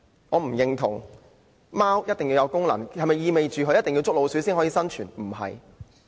我不認同貓一定要有功用，並非必須能夠捉老鼠才能生存。